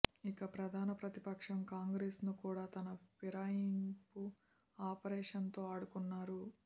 ఇక ప్రధాన ప్రతిపక్షం కాంగ్రెస్ ను కూడా తన ఫిరాయింపు ఆఫరేషన్ తో ఆడుకున్నారు